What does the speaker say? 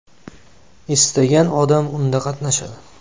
Istagan odam unda qatnashadi.